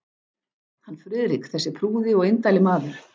Hann Friðrik, þessi prúði og indæli maður